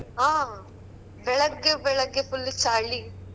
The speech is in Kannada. ಹ ಬೆಳಗ್ಗೆ ಬೆಳಗ್ಗೆ full ಲ್ಲು ಚಳಿ.